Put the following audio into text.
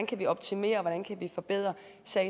kan optimere hvordan vi kan forbedre